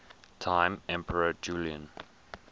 time emperor julian